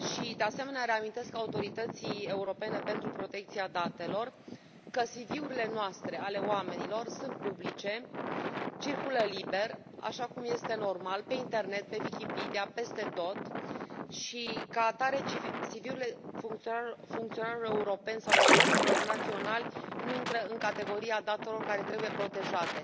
De asemenea, reamintesc Autorității Europene pentru Protecția Datelor că CV urile noastre, ale oamenilor sunt publice, circulă liber, așa cum este normal, pe internet, pe Wikipedia, peste tot și, ca atare, CV urile funcționarilor europeni sau experților naționali nu intră în categoria datelor care trebuie protejate